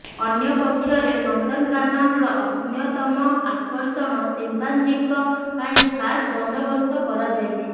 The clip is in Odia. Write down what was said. ଅନ୍ୟପକ୍ଷରେ ନନ୍ଦନକାନନର ଅନ୍ୟତମ ଆକର୍ଷଣ ସିମ୍ପାଞ୍ଜିଙ୍କ ପାଇଁ ଖାସ ବନ୍ଦୋବସ୍ତ କରାଯାଇଛି